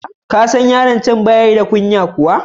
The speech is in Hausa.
Ka san yaron can ba shi da kunya kuwa?